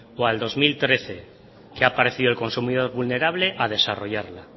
o al dos mil trece que ha aparecido el consumidor vulnerable a desarrollarla